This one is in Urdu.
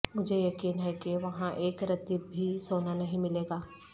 مجھے یقین ہے کہ وہاں ایک رتی بھی سونا نہیں ملے گا